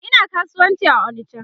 Ina kasuwanci a onicha